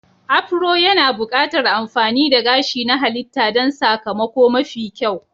Afro yana buƙatar amfani da gashi na halitta don sakamako mafi kyau.